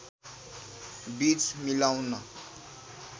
बीज मिलाउन